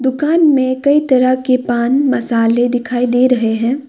दुकान में कई तरह के पान मसाले दिखाई दे रहे हैं।